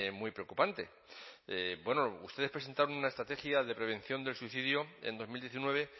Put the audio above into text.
muy preocupante ustedes presentaron una estrategia de prevención del suicidio en dos mil diecinueve